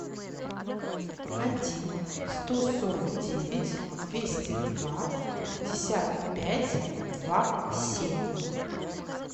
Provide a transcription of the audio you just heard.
один сто сорок девять двести два пятьдесят пять два семь